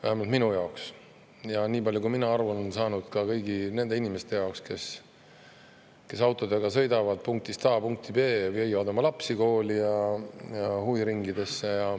Vähemalt minu jaoks ja niipalju, kui mina aru olen saanud, ka kõigi nende inimeste jaoks, kes autodega sõidavad punktist A punkti B, viivad oma lapsi kooli ja huviringidesse.